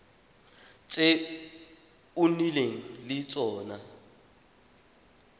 tse o nnileng le tsone